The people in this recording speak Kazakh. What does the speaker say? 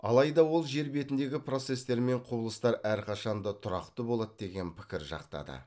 алайда ол жер бетіндегі процестер мен құбылыстар әрқашан да тұрақты болады деген пікір жақтады